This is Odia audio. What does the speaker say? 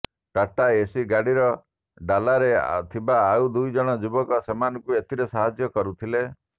ଟାଟା ଏସି ଗାଡ଼ିର ଡାଲାରେ ଥିବା ଆଉ ଦୁଇଜଣ ଯୁବକ ସେମାନଙ୍କୁ ଏଥିରେ ସାହାଯ୍ୟ କରୁଥିଲେ